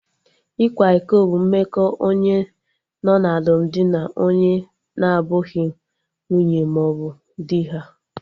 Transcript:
Ịkwa iko bụ mmekọ onye nọ na alụmdi na onye na abụghị nwunye mmaọbụ dị ha